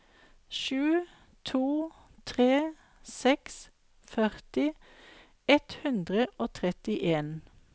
sju to tre seks førti ett hundre og trettien